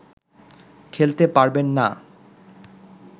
খেলতে পারবেন না